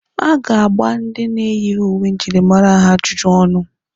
A ga-agba ndị na-eyighi uwe njirimara ajụjụ ọnụ.